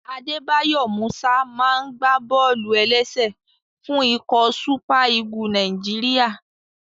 Adébáyọ̀ Músà máa n gbá bọ́ọ̀lù-ẹlẹ́sẹ̀ fún ikọ̀ súpà Ígù Nàìjíríyà